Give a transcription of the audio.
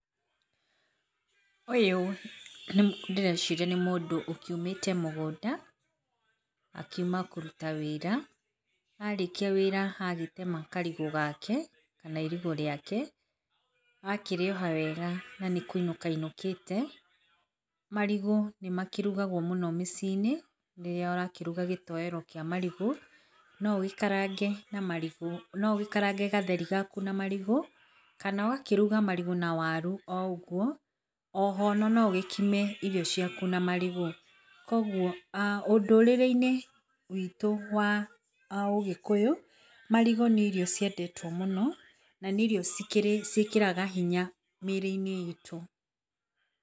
Ũyũ ndĩreciria nĩ mũndũ ũkiumĩte mũgũnda, akiuma kũruta wĩra na arĩkia wĩra agĩtema karigũ gake kana irigũ rĩake akĩrĩoha wega na nĩkũinũka ainũkĩte. Marigũ nĩma kĩrugagwo mũno mĩciĩ -inĩ rĩrĩa ũrakĩruga gĩtoero kĩa marigũ, no ũgĩkarange na gatheri gaku na marigũ, kana ũgakĩruga marigo na waru oũguo, o ho noũgĩkime irio ciaku na marigũ. Koguo, ũndũrĩre-inĩ witũ wa ũgĩkũyũ marigũ nĩ irio ciendetwo mũno na nĩ irio cikĩraga hinya mĩrĩ-inĩ itũ.